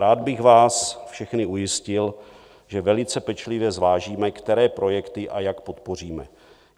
Rád bych vás všechny ujistil, že velice pečlivě zvážíme, které projekty a jak podpoříme.